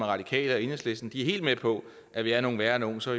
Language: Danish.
radikale og enhedslisten er helt med på at vi er nogle værre nogle så